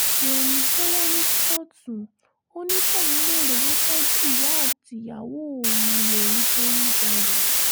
rẹ́mi jẹ́wọ́ ní kóòtù ó ní kóun lè rówó tọ́jú ìyá àtìyàwó òun lòún ṣe ń jalè